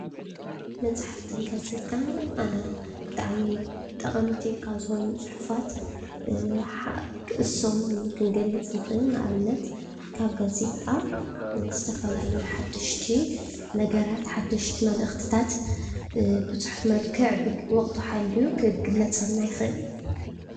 መፅሓፍትን ጋዜጣን ብጣዕሚ ጠቀምቲ ካብ ዝኮኑ ፅሑፋት ንሶም ክንገልፅ ንክእል። ንኣብነት፦ ካብ ጋዜጣ ዝተፋላለዩ ሓደሽቲ ነገራት ፣ሓደሽቲ መልእክቲታት ብፅሑፍ መልክዕ ዎቅቱ ሓሊዩ ክግለፀልና ይክእል።